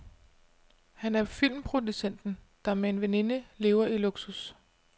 Han er filmproducenten, der med en veninde lever i luksus.